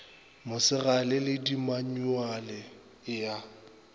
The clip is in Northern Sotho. mosegale le dimanyuale e a